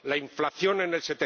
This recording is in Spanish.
la inflación en el